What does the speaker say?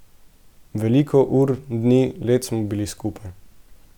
Veliko ur, dni, let smo bili skupaj.